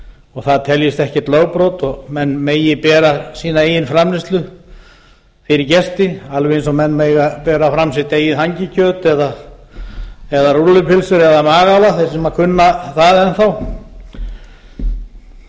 og það teljist ekkert lögbrot og menn megi bera sína eigin framleiðslu fyrir gesti alveg eins og menn mega bera fram sitt eigið hangikjöt eða rúllupylsu eða magál þeir sem kunna það enn þá